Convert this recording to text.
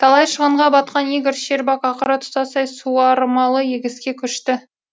талай шығынға батқан игорь щербак ақыры тұтастай суармалы егіске көшті